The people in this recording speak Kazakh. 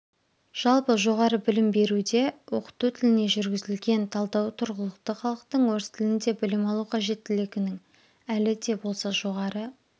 жалпы жоғары білім беруде оқыту тіліне жүргізілген талдау тұрғылықты халықтың орыс тілінде білім алу қажеттілігінің әлі де болса жоғары